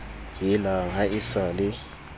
helang ha e sa le